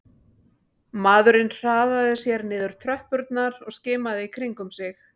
Maðurinn hraðaði sér niður tröppurnar og skimaði í kringum sig